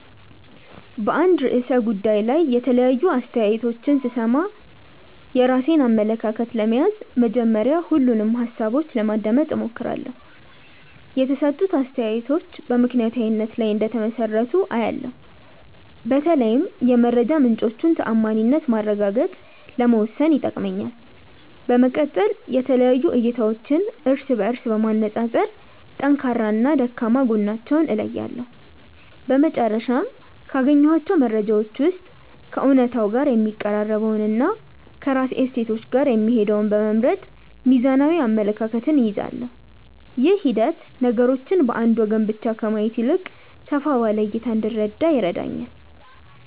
በአንድ ርዕሰ ጉዳይ ላይ የተለያዩ አስተያየቶችን ስሰማ፣ የራሴን አመለካከት ለመያዝ መጀመሪያ ሁሉንም ሃሳቦች ለማዳመጥ እሞክራለሁ። የተሰጡት አስተያየቶች በምክንያታዊነት ላይ እንደተመሰረቱ አያለው፤ በተለይም የመረጃ ምንጮቹን ተዓማኒነት ማረጋገጥ ለመወሰን ይጠቅመኛል። በመቀጠል የተለያዩ እይታዎችን እርስ በእርስ በማነፃፀር ጠንካራና ደካማ ጎናቸውን እለያለሁ። በመጨረሻም፣ ካገኘኋቸው መረጃዎች ውስጥ ከእውነታው ጋር የሚቀራረበውንና ከራሴ እሴቶች ጋር የሚሄደውን በመምረጥ ሚዛናዊ አመለካከት እይዛለሁ። ይህ ሂደት ነገሮችን በአንድ ወገን ብቻ ከማየት ይልቅ ሰፋ ባለ እይታ እንድረዳ ይረዳኛል።